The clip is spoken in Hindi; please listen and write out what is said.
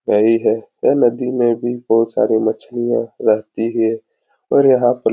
यही है। यह नदी में भी बहुत सारी मछलियां रहती हैं और यहाँ पर --